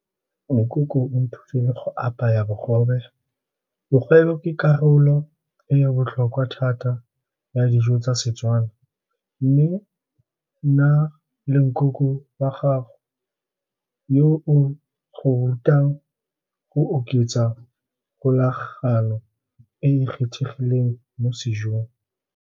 Nkoko o nthutile go apaya bogobe, bogobe karolo e e botlhokwa thata ya dijo tsa Setswana, mme nna le nkoko wa gago yo o go rutang go oketsa kgolagano e e kgethegileng mo sejong.